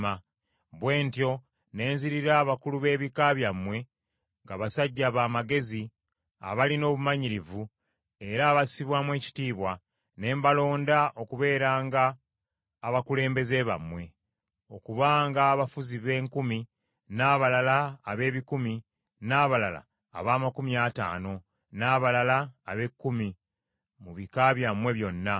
“Bwe ntyo ne nzirira abakulu b’ebika byammwe, nga basajja ba magezi, abalina obumanyirivu, era abassibwamu ekitiibwa, ne mbalonda okubeeranga abakulembeze bammwe; okubanga abafuzi b’enkumi, n’abalala ab’ebikumi, n’abalala ab’amakumi ataano, n’abalala ab’ekkumi, mu bika byammwe byonna.